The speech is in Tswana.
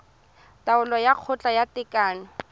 taolo ya kgotla ya tekano